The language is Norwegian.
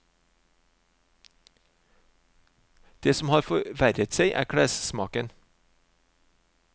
Det som har forverret seg er klessmaken.